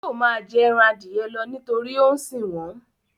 Yóò máa jẹ ẹran Adìẹ lọ nítorí ó ń sìn wọ́n